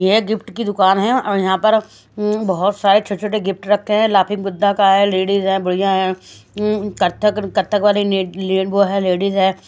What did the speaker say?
ये गिफ्ट की दुकान है और यहां पर बहुत सारे छोटे-छोटे गिफ्ट रखे हैं लाफिंग बुद्धा का है लेडीज है बुढ़िया है कथक कथक वाली वो है लेडीज है।